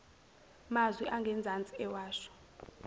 mazwi angezansi ewasho